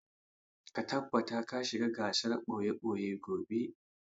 Ka tabbata ka shiga gasar ɓoye-ɓoye gobe!